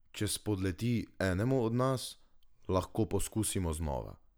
Če spodleti enemu od nas, lahko poskusimo znova.